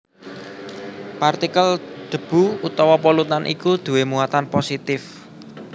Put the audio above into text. Partikel debu utawa polutan iku duwé muatan positif